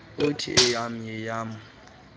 uthi eyam yeyam